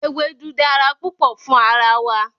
Ewedu dara pupo fun ara wa